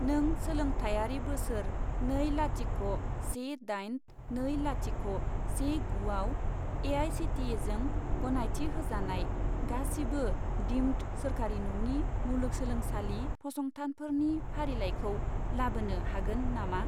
नों सोलोंथायारि बोसोर नै लाथिख' से दाइन नै लाथिख' से गु आव ए.आइ.सि.टि.इ.जों गनायथि होजानाय गासिबो दिम्ड सोरखारि नङि मुलुगसोंलोंसालि फसंथानफोरनि फारिलाइखौ लाबोनो हागोन नामा?